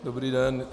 Dobrý den.